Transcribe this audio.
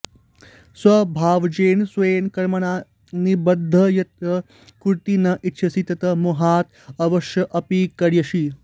स्वभावजेन स्वेन कर्मणा निबद्धः यत् कर्तुं न इच्छसि तत् मोहात् अवशः अपि करिष्यसि